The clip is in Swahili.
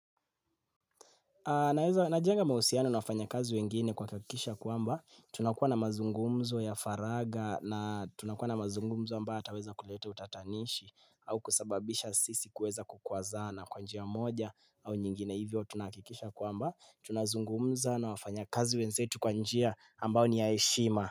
Najenga mahusiano na wafanyakazi wengine kwa kuhakikisha kwamba tunakuwa na mazungumzo ya faraga na tunakuwa na mazungumzo ambayo ataweza kuleta utatanishi au kusababisha sisi kuweza kukwazana kwa njia moja au nyingine hivyo tunahakikisha kwamba tunazungumza na wafanyakazi wenzetu kwa njia ambayo ni ya heshima.